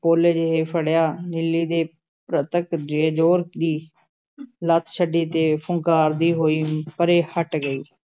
ਪੋਲੇ ਜਿਹੇ ਫੜਿਆ, ਨੀਲੀ ਨੇ ਜ਼ੋਰ ਦੀ ਲੱਤ ਛੱਡੀ ਤੇ ਫੁੰਕਾਰਦੀ ਹੋਈ ਪਰੇ ਹਟ ਗਈ।